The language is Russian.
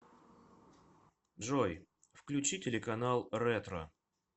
джой включи телеканал ретро